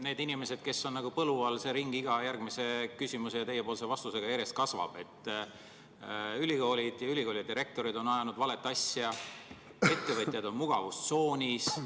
Nende inimeste ring, kes on nagu põlu all, iga järgmise küsimuse ja teie vastusega järjest kasvab: ülikoolid ja ülikoolide rektorid on ajanud valet asja, ettevõtjad on mugavustsoonis.